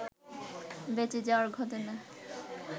বেঁচে যাওয়ার ঘটনা